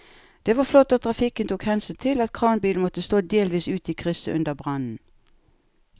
Det var flott at trafikken tok hensyn til at kranbilen måtte stå delvis ute i krysset under brannen.